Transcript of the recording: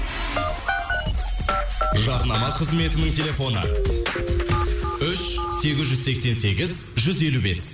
жарнама қызметінің телефоны үш сегіз жүз сексен сегіз жүз елу бес